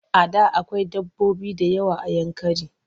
A da akwai dabbobi da yawa a Yankari.